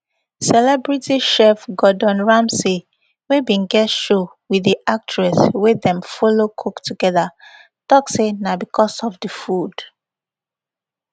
celebrity chef gordon ramsey wey bin get show wit di actress wey dem follow cook togeda tok say na bicos of di food